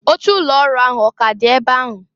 Oche ụlọ ọrụ ahụ ọ k'a dị ebe ahụ?